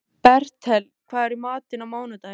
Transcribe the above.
Bertel, hvað er í matinn á mánudaginn?